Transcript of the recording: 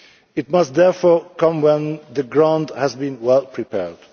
It must therefore come when the ground has been well prepared.